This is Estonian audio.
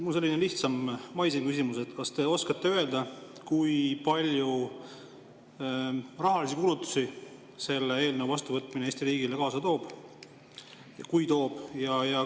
Mul on selline lihtsam, maisem küsimus: kas te oskate öelda, kui palju rahalisi kulutusi selle eelnõu vastuvõtmine Eesti riigile kaasa toob, kui toob?